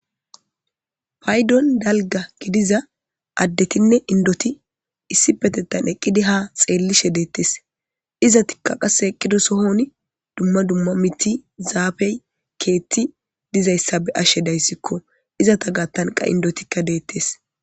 Paydon dalga gidiza addetinne indoti issi petetan eqqidi ha xeellishe deettes izatikka qasse eqqido sohon dumma dumma miti zaafey keetti dizayssa be ashshe dayssikko izata gattanqa indotikka deettes.